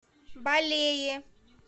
балее